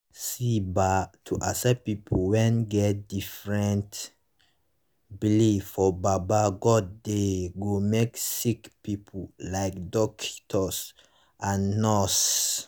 see bah to accept pple wen get different belief for baba godey go make sicki pipu like dockitos and nurse